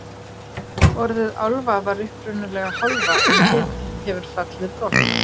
orðið álfa var upprunalega hálfa en hið hefur fallið brott